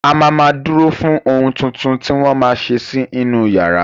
A ma ma dúró fún ohun tuntun tí wọ́n ma ṣe sí inú yàrá